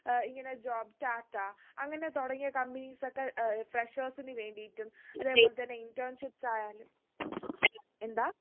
ഏർ ഇങ്ങനെ job tata അങ്ങനെ തുടങ്ങിയ companies ഒക്കെ ഏർ freshers ന് വേണ്ടീട്ടും അതെ പോലെ തന്നെ internships ആയാലും എന്താ